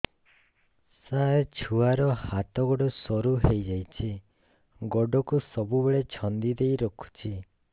ସାର ଛୁଆର ହାତ ଗୋଡ ସରୁ ହେଇ ଯାଉଛି ଗୋଡ କୁ ସବୁବେଳେ ଛନ୍ଦିଦେଇ ରଖୁଛି